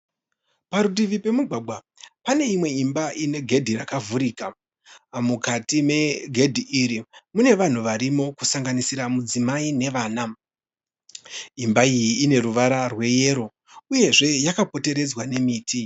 Parutivi pemugwagwa pane imwe imba ine gedhi rakavhurika mukati megedhi iri mune vanhu varimo kusanganisira mudzimai nevana. Imba iyi ine ruvara rweyero uyezve yakapoteredzwa nemiti